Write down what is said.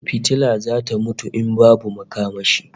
Fitila zata mutu in babu makamashi